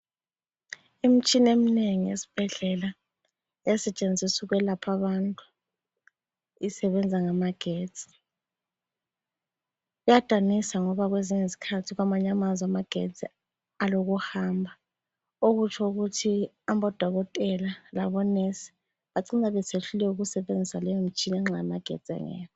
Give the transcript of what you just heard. Imtshina eminengi esbhedlela esetshenziswa ukwelapha abantu isebenza ngama getsi. Kuyadanisa ngoba kwezinye izkhathi kwamanye amazwe amagetsi alokuhamba okutsho ukuthi abodokotela labo nurse bacina besehluleka ukusebenzisa leyo mtshina nxa amagetsi engekho.